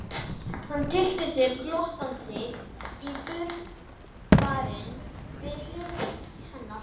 Hann tyllti sér glottandi á brunnbarminn við hlið hennar.